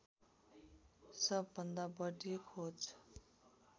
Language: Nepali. सबभन्दा बढी खोज